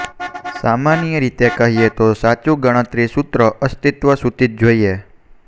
સામાન્ય રીતે કહીએ તો સાચું ગણતરી સૂત્રો અસ્તિત્વ સૂચિત જોઈએ